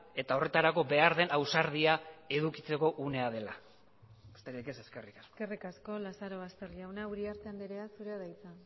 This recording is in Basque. eta horretarako behar den ausardia edukitzeko unea dela besterik ez eskerrik asko eskerrik asko lazarobaster jauna uriarte andrea zurea da hitza